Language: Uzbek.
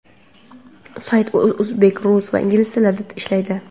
Sayt o‘zbek, rus va ingliz tillarida ishlaydi.